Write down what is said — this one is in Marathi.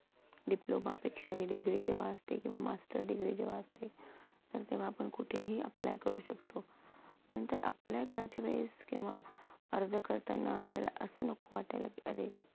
diploma पेक्षा degree जेव्हा असते किंवा master degree जेव्हा असते तर तेव्हा आपण कुठेही apply करू शकतो. नंतर apply करायच्या वेळीस किंवा अर्ज करताना आपल्याला असं नको वाटायला की अरे